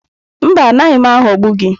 Mba, anaghị m aghọgbu gị.